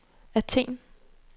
Athen